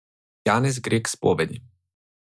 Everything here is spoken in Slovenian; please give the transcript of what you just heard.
Janez gre k spovedi.